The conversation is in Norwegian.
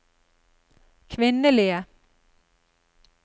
kvinnelige